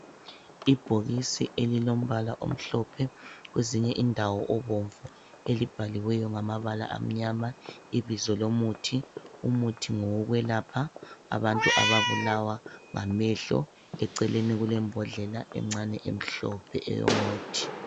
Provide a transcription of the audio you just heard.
ibhokisi elilombala omhlophe kwezinye indawo obomvu elibhaliweyo ngamabala amnyama ibizo lomuthi umuthi ngowokwelapha abantu ababulawa ngamehlo eceleni kulembondlela encane emhlophe eyomuthi